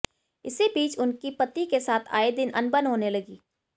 इसी बीच उनकी पति के साथ आए दिन अनबन होने लगी